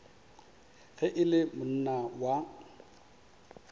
ge e le monna wa